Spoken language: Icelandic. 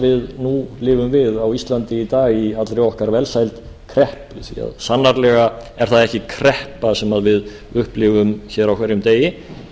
við nú lifum við á íslandi í dag í allri okkar velsæld kreppu því að sannarlega er það ekki kreppa sem við upplifum hér á hverjum degi